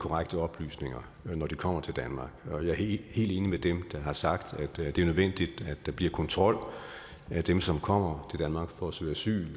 korrekte oplysninger når de kommer til danmark og jeg er helt enig med dem der har sagt at det er nødvendigt at der bliver kontrol af dem som kommer danmark for at søge asyl